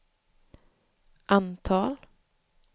antal